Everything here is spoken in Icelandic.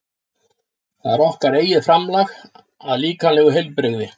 Það er okkar eigið framlag að líkamlegu heilbrigði.